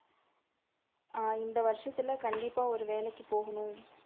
ஆஹ் இந்த வருஷத்துல கண்டிப்பா ஒரு வேலைக்கு போகணும்.